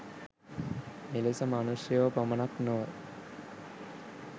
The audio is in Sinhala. මෙලෙස මනුෂ්‍යයෝ පමණක් නොව